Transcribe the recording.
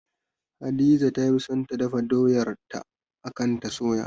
Hadiza ta fi son ta dafa doyar ta akan ta soya